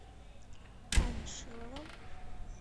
таня шилова